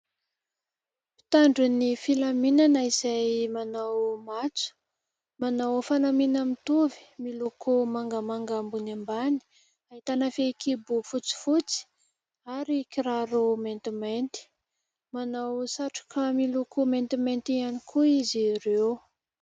Mpitandro ny filaminana izay manao matso, manao fanamiana mitovy, miloko mangamanga ambony ambany. Ahitana fehikibo fotsifotsy ary kiraro maintimainty. Manao satroka miloko maintimainty ihany koa izy ireo.